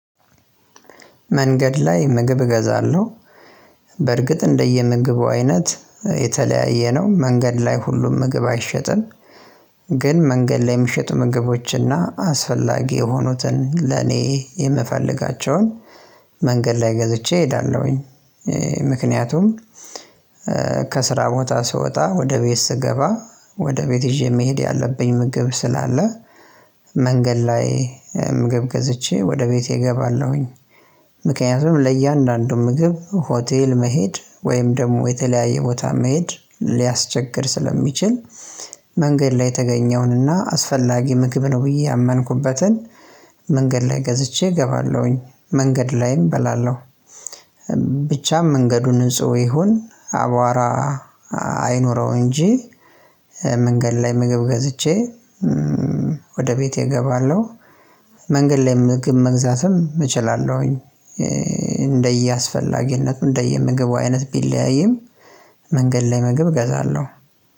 መንገድ ላይ ምግብ እገዛለሁ። በርግጥ እንደየ ምግቡ አይነት የተለያየ ነው መንገድ ላይ ሁሉም ምግብ አይሸጥም። ግን መንገድ ላይ የሚሸጡ ምግቦች እና አስፈላጊ የሆኑትን ለኔ የምፈልጋቸውን መንገድ ላይ ገዝቼ እሄዳለሁኝ ምክንያቱም ከስራ ቦታ ስወጣ ወደ ቤት ስገባ ወደ ቤት ይዤ መሄድ ያለብኝ ምግብ ስላለ መንገድ ላይ ምግብ ገዝቼ ወደ ቤቴ እገባለሁኝ። ምክንያቱም ለእያንዳንዱ ምግብ ሆቴል መሄድ ወይም ደሞ የተለያየ ቦታ መሄድ ሊያስቸግር ስለሚችል። መንገድ ላይ የተገኘውንና አስፈላጊ ምግብ ነው ብዬ ያመንኩበትን መንገድ ላይ ገዝቼ እገባለሁኝ መንገድ ላይም እበላለሁ። ብቻም መንገዱን ንጹህ ይሁን አቧራ አይኖረው እንጂ መንገድ ላይ ምግብ ገዝቼ ወደ ቤቴ እገባለሁ። መንገድ ላይ ምግብ መግዛትም እችላለሁኝ። እንደየ አስፈላጊነቱ እንደየ ምግቡ አይነት ቢለያይም መንገድ ላይ ምግብ እገዛለሁ።